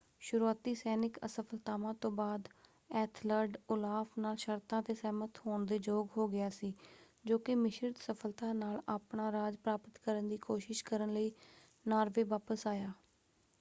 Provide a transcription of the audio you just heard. ਸ਼ੁਰੂਆਤੀ ਸੈਨਿਕ ਅਸਫ਼ਲਤਾਵਾਂ ਤੋਂ ਬਾਅਦ ਐਥਲਰਡ ਓਲਾਫ਼ ਨਾਲ ਸ਼ਰਤਾਂ 'ਤੇ ਸਹਿਮਤ ਹੋਣ ਦੇ ਯੋਗ ਹੋ ਗਿਆ ਸੀ ਜੋ ਕਿ ਮਿਸ਼ਰਤ ਸਫ਼ਲਤਾ ਨਾਲ ਆਪਣਾ ਰਾਜ ਪ੍ਰਾਪਤ ਕਰਨ ਦੀ ਕੋਸ਼ਿਸ਼ ਕਰਨ ਲਈ ਨਾਰਵੇ ਵਾਪਸ ਆਇਆ।